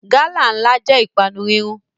Gálà ńlá jẹ́ ìpanu rírún